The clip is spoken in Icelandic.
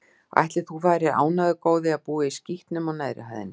Ætli þú værir ánægður, góði, að búa í skítnum á neðri hæðinni?